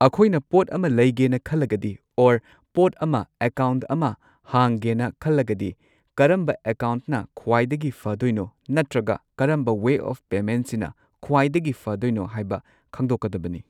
ꯑꯩꯈꯣꯏꯅ ꯄꯣꯠ ꯑꯃ ꯂꯩꯒꯦꯅ ꯈꯜꯂꯒꯗꯤ ꯑꯣꯔ ꯄꯣꯠ ꯑꯃ ꯑꯦꯀꯥꯎꯟꯠ ꯑꯃ ꯍꯥꯡꯒꯦꯅ ꯈꯜꯂꯒꯗꯤ ꯀꯔꯝꯕ ꯑꯦꯀꯥꯎꯟꯠꯅ ꯈ꯭ꯋꯥꯏꯗꯒꯤ ꯐꯗꯣꯏꯅꯣ ꯅꯠꯇ꯭ꯔꯒ ꯀꯔꯝꯕ ꯋꯦ ꯑꯣꯐ ꯄꯦꯃꯦꯟꯠꯁꯤꯅ ꯈ꯭ꯋꯥꯏꯗꯒꯤ ꯐꯗꯣꯏꯅꯣ ꯍꯥꯏꯕ ꯈꯪꯗꯣꯛꯀꯗꯕꯅꯤ꯫